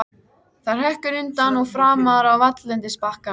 Það hrekkur undan og framar á valllendisbakkann.